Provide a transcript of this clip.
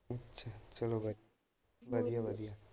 ਚਲੋ ਵਧੀਆ ਵਧੀਆ।